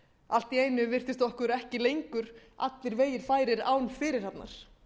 allt í einu virtist okkur ekki lengur allir vegir færir án fyrirhafnar